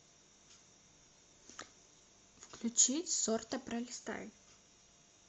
включить сорта пролистай